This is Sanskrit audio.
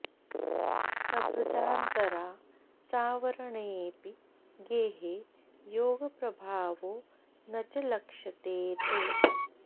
लभ्दान्तरा सावरणेऽपि गेहे योगप्रभावो न च लक्ष्यते ते